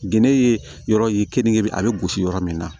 Gende ye yɔrɔ ye keninke a bɛ gosi yɔrɔ min na